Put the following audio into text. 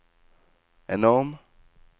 enorm